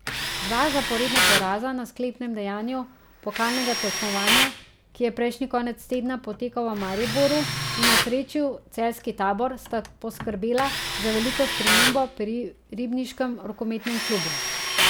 Dva zaporedna poraza na sklepnem dejanju pokalnega tekmovanja, ki je prejšnji konec tedna potekal v Mariboru in osrečil celjski tabor, sta poskrbela za veliko spremembo pri ribniškem rokometnem klubu.